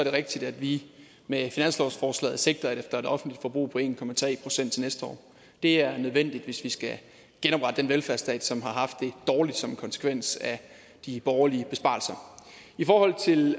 det rigtigt at vi med finanslovsforslaget sigter efter i det offentlige forbrug på en procent til næste år det er nødvendigt hvis vi skal genoprette den velfærdsstat som har haft det dårligt som en konsekvens af de borgerliges besparelser i forhold til